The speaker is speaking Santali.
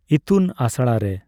ᱤᱛᱩᱱ ᱟᱥᱬᱟ ᱨᱮ